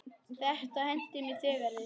Þetta henti mig þegar við